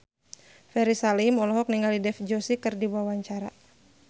Ferry Salim olohok ningali Dev Joshi keur diwawancara